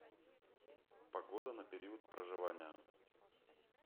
погода на период проживания